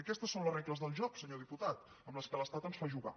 aquestes són les regles del joc senyor diputat amb què l’es·tat ens fa jugar